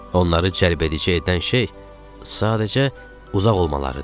Onları cəlb edici edən şey sadəcə uzaq olmalarıdır.